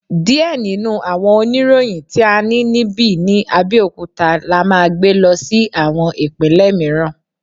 Diẹ ninu awọn oniroyin ti a ni nibi ni Abeokuta la maa gbe lọ si awọn ipinlẹ miiran